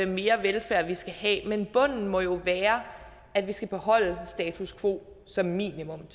mere velfærd vi skal have men bunden må jo være at vi skal beholde status quo som minimum